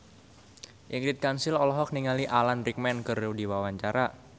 Ingrid Kansil olohok ningali Alan Rickman keur diwawancara